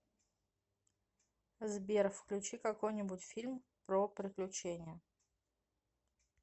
сбер включи какой нибудь фильм про приключения